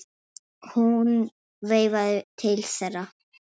Hún veifaði til þeirra.